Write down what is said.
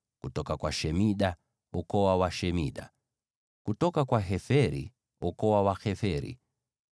kutoka kwa Shemida, ukoo wa Washemida; kutoka kwa Heferi, ukoo wa Waheferi.